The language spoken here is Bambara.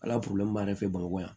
Ala b'an yɛrɛ fɛ bamakɔ yan